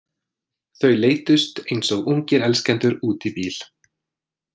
Þau leiddust eins og ungir elskendur út í bíl.